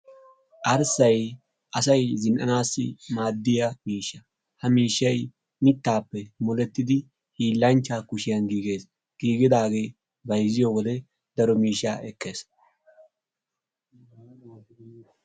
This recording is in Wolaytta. Arssayi asayi zinn"anaassi maaddiya miishsha. Ha miishshay mittaappe molettidi hiillanchchaa kushiyan giigees. Giigidaagee bayzziyo wode daro miishshaa ekees.